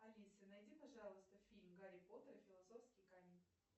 алиса найди пожалуйста фильм гарри поттер и философский камень